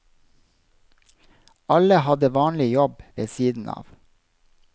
Alle hadde vanlig jobb ved siden av.